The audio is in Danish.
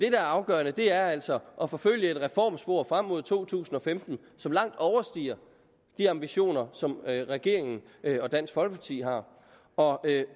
er afgørende er altså at forfølge et reformspor frem mod to tusind og femten som langt overstiger de ambitioner som regeringen og dansk folkeparti har og